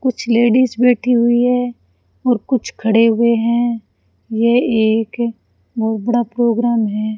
कुछ लेडीज बैठी हुई हैं और कुछ खड़े हुए हैं ये एक बहोत बड़ा प्रोग्राम है।